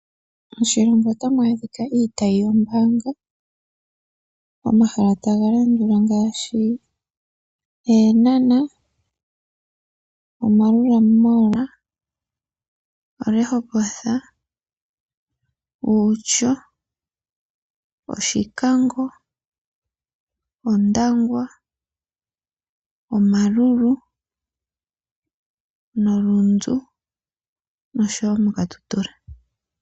Moshilongo otamu adhika iitayi yoombaanga pomahala taga landula ngaashi: Eenhana, Omaerua Mall, oRehoboth, Outjo, Oshikango, Ondangwa, Omaruru, oRundu nosho wo mOkatutura.